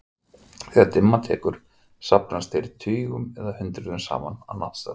Þegar dimma tekur safnast þeir tugum eða hundruðum saman á náttstaði.